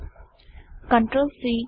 CTRL C control see